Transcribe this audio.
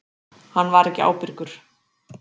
Hann var ekki ábyrgur.